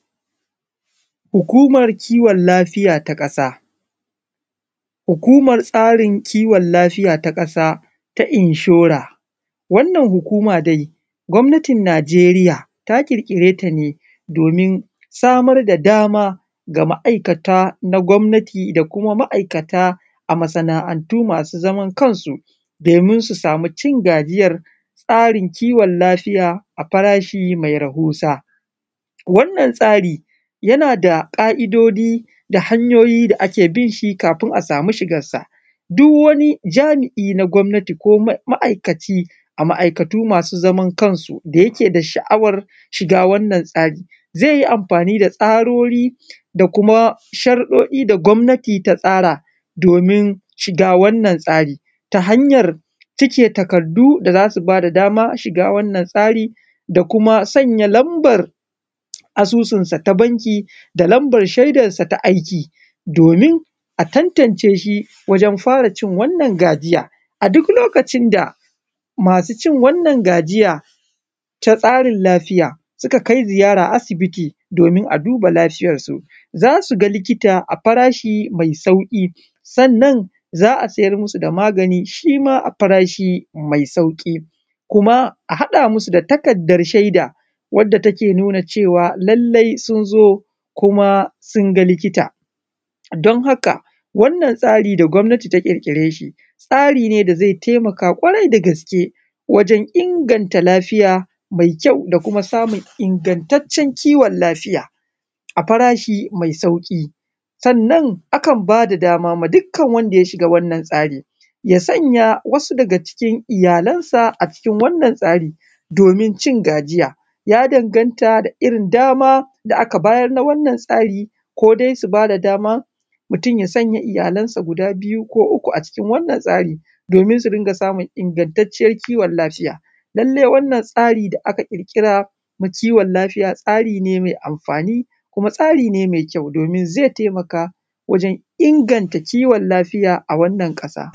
Hukumar kiwon lafiya ta kasa, hukumar tsarin kiwon lafiya ta kasa ta inshore, wannan hukuma dai gwamnatin Nigeriya ta kirkire ta ne domin samar da dama ga ma’aikatan na gwamnati da kuma ma’aikata masu zamar kansu domin su sami cin gajiyar tsarin kiwon lafiya a farashi mai rahusa, wannan tsari yana da ka’idoji da hanyoyi da ake binshi kafin a samu shigansa, duk wani jami’i na gwamnati ko ma’aikaci a ma’aikatu masu zaman kansu da yake da sha’awan shiga wannan tsari zai yi amfani da tsarori